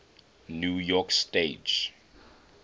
new york stage